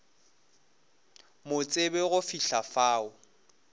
mo tsebe go fihla fao